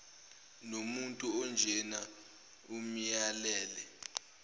nomuntu onjena amyalele